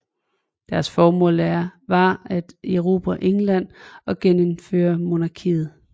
Deres formål var at erobre England og genindføre monarkiet